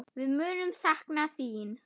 Við munum sakna þín.